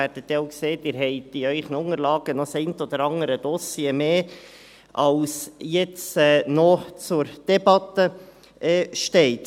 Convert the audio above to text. Sie sehen, dass Ihre Unterlagen das eine oder andere Dossier mehr enthalten, als jetzt noch zur Debatte stehen.